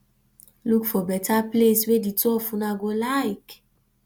look for better place wey di two of una go like